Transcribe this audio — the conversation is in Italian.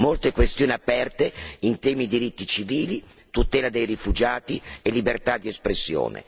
Sono molte le questioni aperte in tema di diritti civili, tutela dei rifugiati e libertà di espressione.